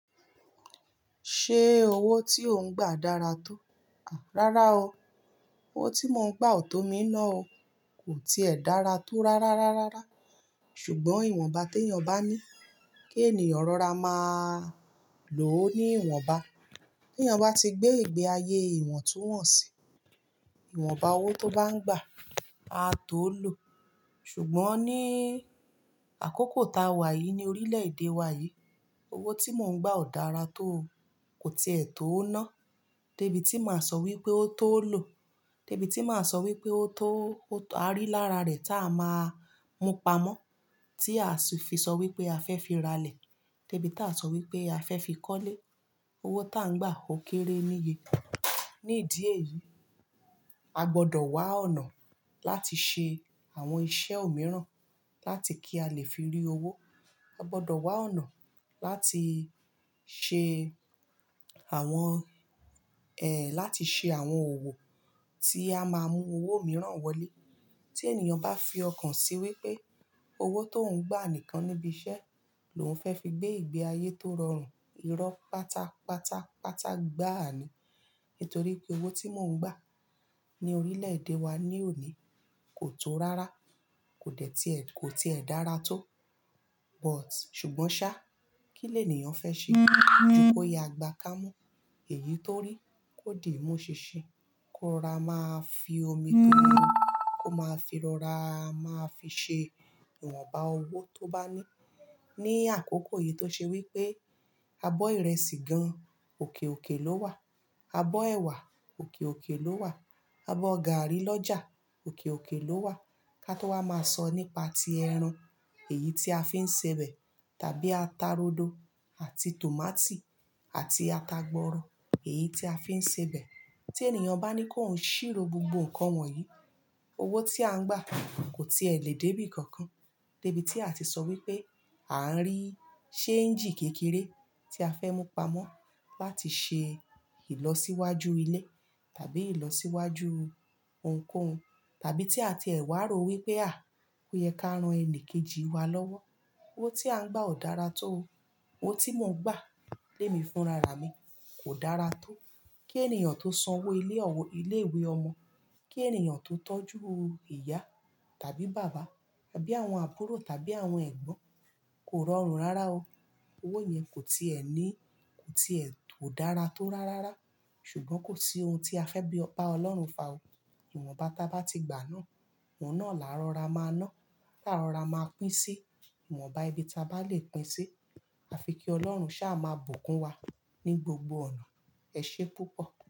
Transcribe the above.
Ṣé owó tí ò ń gbà dára tó? Rárá o. Owó tí mò ń gbà ò tó mi ná o. Kò tiẹ̀ dára tó rárárara ṣùgbọ́n ìwọ̀nba tí èèyàn bá ní, kí èèyàn rọra máa lò ó ní ìwọ̀nba. Kí èèyàn bá ti gbé ìgbé ayé ìwọ̀ntúnwọ̀nsì, ìwọ̀nba owó tó bá ń gbà, a tó lò. Ṣùgbọ́n ní àkókò ta wà yìí, ní orílẹ̀-èdè wa yìí, owó tí mò ń gbà ò dára tó o. Kò tiẹ̀ tó ó ná. Débi tí màá sọ wípé ó tó lò. Débi tí màá sọ wípé ó tó, a rí lára rẹ̀ tí a máa mú pamọ́. Tí a sì fi sọ wípé a fẹ́ fi ra ilẹ̀. Débi tí a sọ wípé a fẹ́ fi kọ́lé. Owó ta ń gbà ò kéré níye. Ní ìdí èyí, a gbọdọ̀ wá ọ̀nà láti ṣe àwọn iṣẹ́ òmíràn láti kí a lè fi rí owó. A gbọdọ̀ wá ọ̀nà láti ṣe àwọn, láti ṣe àwọn òwò tí a máa mú owó mìíràn wọlé. Tí èniyàn bá fi ọkàn sí wípé owó tó oun gbà nìkan níbi iṣẹ́ lòun fẹ́ fi gbé ìgbé ayé tó rọrùn, irọ́ pátapátapátá gbà á ni. Nítorí pé owó tí mò ń gbà ní orílẹ̀-èdè wa ní òní kò tó rárá. Kò tiẹ̀ dára tó. But ṣùgbọ́n ṣá, kí lèniyàn fẹ́ ṣe? Jù pẹ́ kó yé gba kámu. Èyí tó rí kò dì mú ṣinsin Kó rora máa fi omi tó ní, kó máa fi rọra, máa fi ṣe ìwọ̀nba owó tó ba ní. Ní àkókò yìí tó ṣe wí pé, abọ́ ìrẹsì gan-an òkèokè ló wà. Abọ́ ẹ̀wà òkèokè ló wà. Abọ́ gàrí lọ́jà òkèokè ló wà. Ka tó wa máa sọ nípa tí ẹran, èyí tí a fi ń se ẹ̀ bẹ̀ tàbí ata rodo àti tòmátì àti ata gbọ̀ọ̀rọ̀, èyí tí a fi ń se ẹ̀ bẹ̀. Tí ènìyàn bá ní kó ń sírò gbogbo nǹkan wọ̀nyí, owó tí a ń gbà kò tíẹ̀ lè débí kankan. Débi tí a ti sọ wípé a ń rí séǹjì kékeré tí a fẹ́ mú pamọ́ láti ṣe ìlọsíwájú ilé tàbí ìlọsíwájú ohunkóhun. Tàbí tí a ti ẹ̀wá ro wípé à, ó yẹ ká ran ẹni kejì wa lọ́wọ́. Owó tí a ń gbà ò dára tó o. Owó tí mò ń gbà lé mi fúnra rà mí kò dára tó. Kí èèyàn tó sanwó ilé, ilé ìwé ọmọ, kí èèyàn tó tọ́jú ìyá tàbí bàbá tàbí àwọn àbúrò tàbí àwọn ẹ̀gbọ́n kò rọrùn rárá o. Owó yẹn kò tiẹ̀ ní, kò tiẹ̀, kò dára tó rárá. Ṣùgbọ́n kò sí ohun tí a fẹ́ bí ọba Ọlọ́run fa o. Ìwọ̀nba tá bá ti gbà náà, òun náà làárọ̀ra máa ná, làárọ̀ra máa pín sí. Ìwọ̀nba ibi tá bá lè pín sí. A fi kí Ọlọ́run ṣá máa bùkún wa ní gbogbo ọ̀nà. Ẹ ṣé púpọ̀.